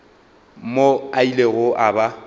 mo a ilego a ba